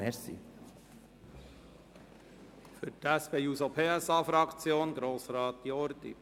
Für die SP-JUSO-PSA-Fraktion spricht nun Grossrat Jordi.